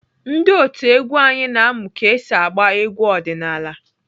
Ndị otu egwu anyị na-amụ ka esi agba egwu ọdịnaala.